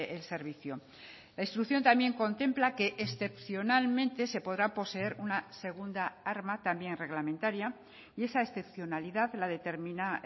el servicio la instrucción también contempla que excepcionalmente se podrá poseer una segunda arma también reglamentaria y esa excepcionalidad la determina